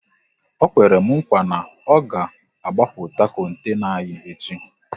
Ọ kwere m nkwa na ọ ga agbapụta kontena anyị echi